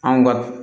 Anw ka